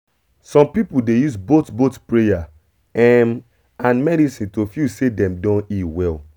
some people dey use both both prayer um and medicine to feel say dem don heal well